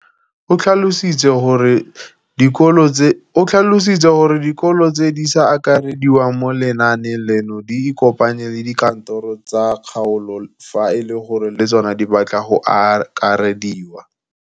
O tlhalositse gore dikolo tse di sa akarediwang mo lenaaneng leno di ikopanye le dikantoro tsa kgaolo fa e le gore le tsona di batla go akarediwa.